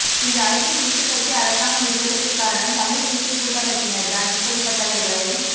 இன்று ஐக்கிய தேசியக்கட்சி அரசாங்கம் இருப்பதக்கு காரணம் தமிழ் தேசிய கூட்டமைப்பினர்தான் இப்படிப்பட்டவர்களை